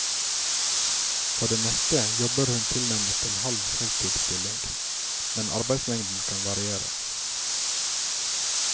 På det meste jobber hun tilnærmet en halv heltidsstilling, men arbeidsmengden kan variere.